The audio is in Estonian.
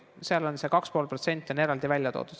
See 2,5% on seaduses eraldi välja toodud.